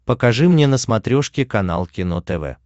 покажи мне на смотрешке канал кино тв